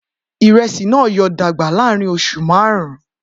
Iresi naa yoo dagba laarin oṣu marun